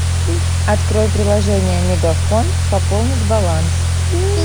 открой приложение мегафон пополнить баланс